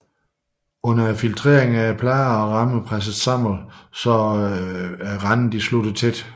Under filtreringen er plader og rammer presset sammen så randene slutter tæt